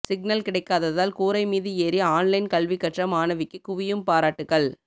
signal கிடைக்காதால் கூரை மீது ஏறி ஆன்லைன் கல்வி கற்ற மாணவிக்கு குவியும் பாராட்டுக்கள்